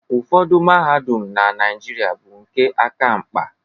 Ụfọdụ mahadum na Naịjirịa bụ nke aka mkpa.